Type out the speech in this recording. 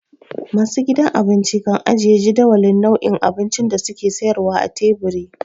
Masu gidan abinci kan ajiye jadawalin nau'in abincin da su ke sayarwa a teburi.